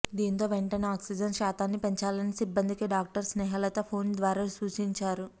దీంతో వెంటనే ఆక్సిజన్ శాతాన్ని పెంచాలని సిబ్బందికి డాక్టర్ స్నేహలత ఫోన్ ద్వారా సూచించారు